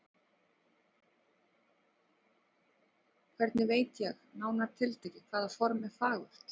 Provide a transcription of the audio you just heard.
Hvernig veit ég, nánar tiltekið, hvaða form er fagurt?